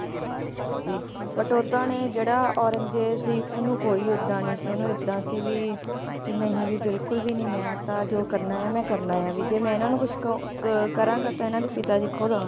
But ਓਦਾਂ ਨੇ ਜਿਹੜਾ ਔਰੰਗਜੇਬ ਸੀ ਓਹਨੂੰ ਕੋਈ ਏਦਾਂ ਨਹੀਂ ਸੀ ਓਹਨੂੰ ਏਦਾਂ ਸੀ ਵੀ ਵੀ ਨਹੀਂ ਵੀ ਬਿਲਕੁਲ ਮੈਂ ਤਾ ਜੋ ਕਰਨਾ ਆ ਮੈਂ ਕਰਨਾ ਆ ਵੀ ਜੇ ਮੈਂ ਏਹਨਾਂ ਨੂੰ ਕੁਝ ਕਹੁ ਅ ਕਰਾਂਗਾ ਤਾ ਇਹਨਾਂ ਦੇ ਪਿਤਾ ਜੀ ਖੁਦ ਆਉਣਗੇ